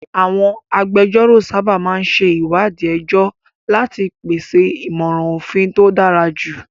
Àwọn agbẹjọ́rò sábà máa ń ṣe ìwádìí ẹjọ́ láti pèsè ìmọ̀ràn òfin tó dára jù.